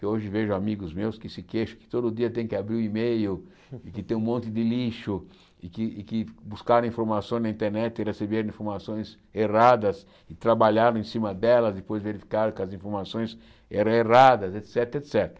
que hoje vejo amigos meus que se queixam que todo dia tem que abrir o e-mail e que tem um monte de lixo e que e que buscaram informações na internet e receberam informações erradas e trabalharam em cima delas e depois verificaram que as informações eram erradas, et cétera, et cétera.